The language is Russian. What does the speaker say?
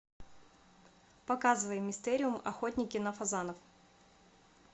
показывай мистериум охотники на фазанов